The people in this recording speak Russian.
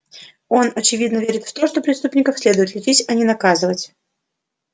он очевидно верит в то что преступников следует лечить а не наказывать